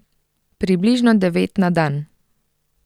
Približno devet na dan.